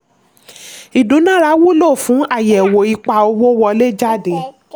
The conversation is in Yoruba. ìdúnára wulo fún àyẹ̀wò ipa owó wọlé/jáde.